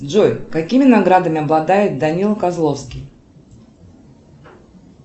джой какими наградами обладает данила козловский